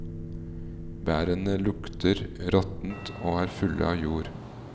Bærene lukter råttent og er fulle av jord.